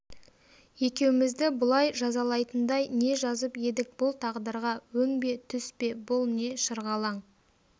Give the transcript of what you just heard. екеумізді бұлай жазалайтындай не жазып едік бұл тағдырға өң бе түс пе бұл не шырғалаң